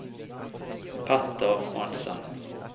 Peter Hansen